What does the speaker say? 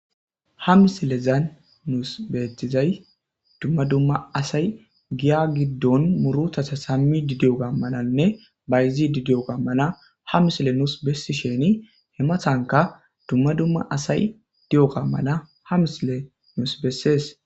Ha misilezan nuus beetizay dumma dumma asay giya giddon murutasa sammi didi7oga malanne bayzidi di7oga mala ha misile nuus bessi sheni hemathanka dumma dumma asay di7oga mala ha misile nus bessees.